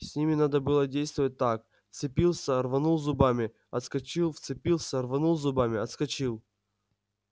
с ними надо было действовать так вцепился рванул зубами отскочил вцепился рванул зубами отскочил